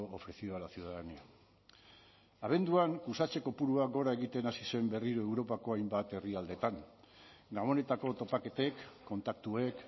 ofrecido a la ciudadanía abenduan kutsatze kopurua gora egiten hasi zen berriro europako hainbat herrialdetan gabonetako topaketek kontaktuek